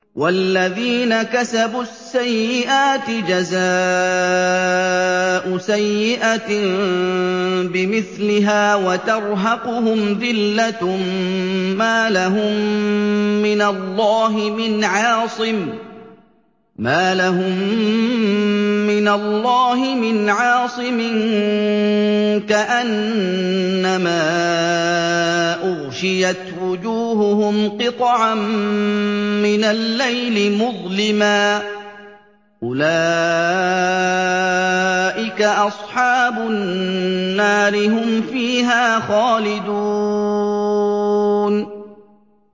وَالَّذِينَ كَسَبُوا السَّيِّئَاتِ جَزَاءُ سَيِّئَةٍ بِمِثْلِهَا وَتَرْهَقُهُمْ ذِلَّةٌ ۖ مَّا لَهُم مِّنَ اللَّهِ مِنْ عَاصِمٍ ۖ كَأَنَّمَا أُغْشِيَتْ وُجُوهُهُمْ قِطَعًا مِّنَ اللَّيْلِ مُظْلِمًا ۚ أُولَٰئِكَ أَصْحَابُ النَّارِ ۖ هُمْ فِيهَا خَالِدُونَ